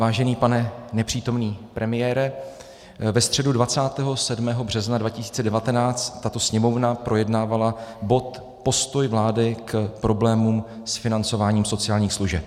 Vážený pane nepřítomný premiére, ve středu 27. března 2019 tato Sněmovna projednávala bod Postoj vlády k problémům s financováním sociálních služeb.